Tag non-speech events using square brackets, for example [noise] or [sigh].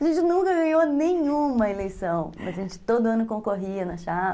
A gente nunca ganhou nenhuma eleição, [laughs] mas a gente todo ano concorria na chapa.